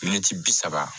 bi saba